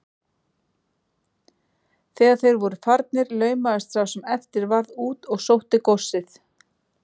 Þegar þeir voru farnir laumaðist sá sem eftir varð út og sótti góssið.